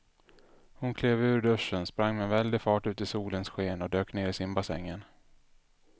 Hon klev ur duschen, sprang med väldig fart ut i solens sken och dök ner i simbassängen.